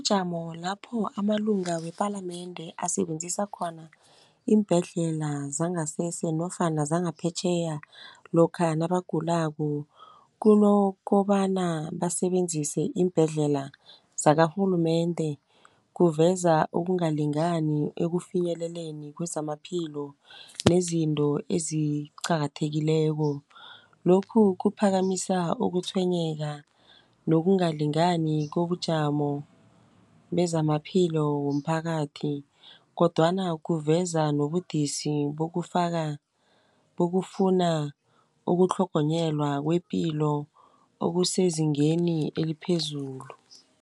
Ijamo lapho amalunga wepalamende asebenzisa khona iimbhedlela zangasese nofana zangaphetjheya lokha nabagulako, kunokobana basebenzise iimbhedlela zakarhulumende. Kuveza ukungalingani ekufinyeleleni kwezamaphilo nezinto eziqakathekileko. Lokhu kuphakamisa ukutshwenyeka nokungalingani kobujamo bezamaphilo womphakathi kodwana kuveza nobudisi bokufuna ukutlhogonyelwa kwepilo okusezingeni eliphezulu.